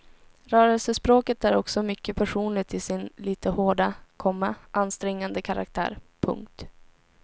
Rörelsespråket är också mycket personligt i sin lite hårda, komma ansträngande karaktär. punkt